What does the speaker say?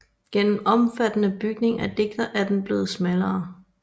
Gennem omfattende bygning af diger er den blevet smallere